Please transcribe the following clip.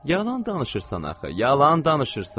Yalan danışırsan axı, yalan danışırsan.